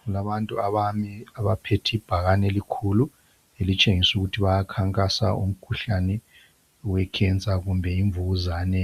Kulabantu abane abapheth' ibhakane elikhulu elitshengis' ukuthi bayakhankasa umkhuhlane wekhensa kumbe imvukuzane